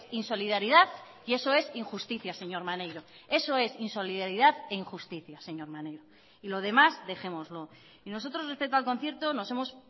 insolidaridad y eso es injusticia señor maneiro eso es insolidaridad e injusticia señor maneiro y lo demás dejémoslo y nosotros respecto al concierto nos hemos